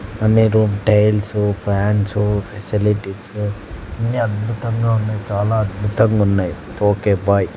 అన్ని room tiles fans facilities అన్నీ అద్భుతంగా ఉన్నాయి చాలా అద్భుతంగా ఉన్నాయి ఓకే బాయ్ .